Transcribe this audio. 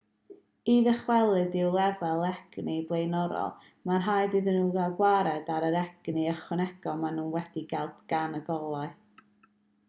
i ddychwelyd i'w lefel egni blaenorol mae'n rhaid iddyn nhw gael gwared ar yr egni ychwanegol maen nhw wedi'i gael gan y golau